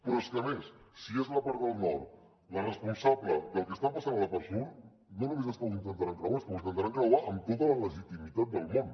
però és que a més si és la part del nord la responsable del que està passant a la part sud no només és que ho intentaran creuar és que ho intentaran creuar amb tota la legitimitat del món